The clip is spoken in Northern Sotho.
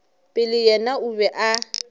pele yena o be a